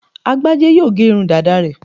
Agbájé yóò gé irun dàda rẹ̀